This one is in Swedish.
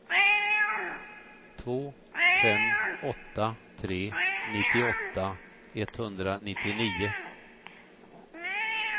två fem åtta tre nittioåtta etthundranittionio